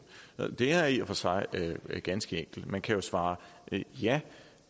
det er i og for sig ganske enkelt man kan jo svare ja